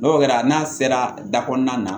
N'o kɛra n'a sera da kɔnɔna na